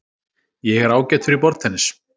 Ég er ágætur í borðtennis.